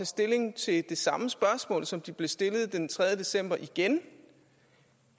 stilling til det samme spørgsmål som de blev stillet den tredje december igen